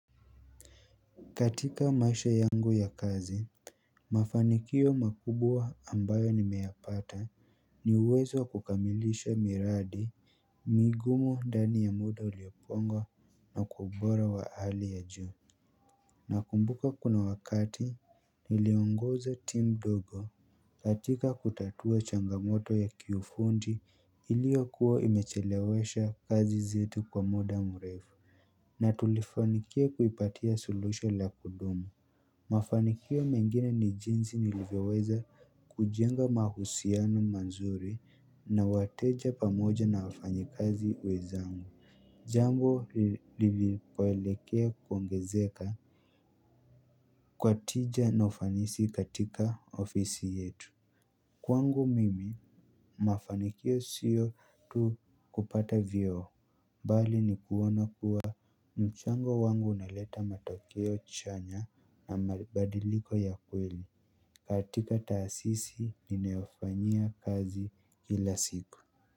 Katika maisha yangu ya kazi, mafanikio makubwa ambayo nimeyapata ni uwezo wa kukamilisha miradi migumu ndani ya muda uliopongwa na kwa ubora wa hali ya juu. Nakumbuka kuna wakati niliongoza team dogo katika kutatua changamoto ya kiufundi iliyokuwa imechelewesha kazi zetu kwa muda mrefu. Na tulifanikia kuipatia suluhisho la kudumu. Mafanikio mengine ni jinsi nilivyoweza kujenga mahusiano mazuri na wateja pamoja na wafanyikazi wenzangu. Jambo lilipoelekea kuongezeka, kwa tija na ufanisi katika ofisi yetu. Kwangu mimi mafanikio sio tu kupata vyeo bali ni kuona kuwa mchango wangu unaleta matokeo chanya na mabadiliko ya kweli, katika taasisi ninayofanyia kazi kila siku.